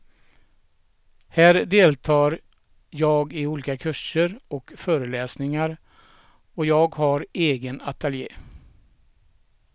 Här deltar jag i olika kurser och föreläsningar och jag har egen ateljé.